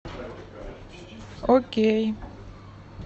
окей